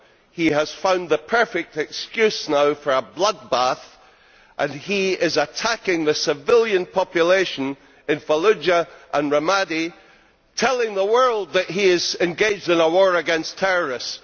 He has found the perfect excuse now for a bloodbath, and he is attacking the civilian population in Fallujah and Ramadi, telling the world that he is engaged in a war against terrorists.